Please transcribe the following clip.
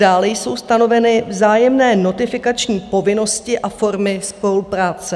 Dále jsou stanoveny vzájemné notifikační povinnosti a formy spolupráce.